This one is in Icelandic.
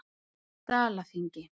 Dalaþingi